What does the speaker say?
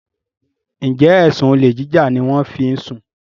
njé ẹsùn olè jíjà ní wón fí ń sún?